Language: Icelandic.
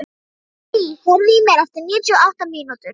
Elí, heyrðu í mér eftir níutíu og átta mínútur.